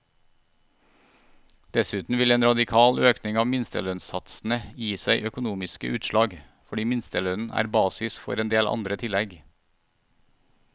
Dessuten vil en radikal økning av minstelønnssatsene gi seg økonomiske utslag, fordi minstelønnen er basis for endel andre tillegg.